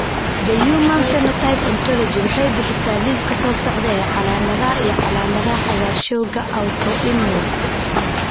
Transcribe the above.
The Human Phenotype Ontology waxay bixisaa liiska soo socda ee calaamadaha iyo calaamadaha cagaarshowga Autoimmune.